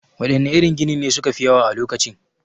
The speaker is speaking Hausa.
Waɗanne irin ginin ne su ka fi yawa a lokacin?